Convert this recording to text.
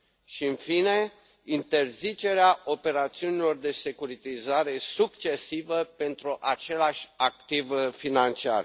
și, în fine, interzicerea operațiunilor de securitizare succesivă pentru același activ financiar.